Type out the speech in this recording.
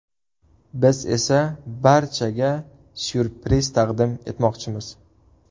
Biz esa barchaga ‘syurpriz’ taqdim etmoqchimiz.